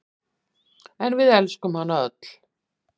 En við elskuðum hana öll.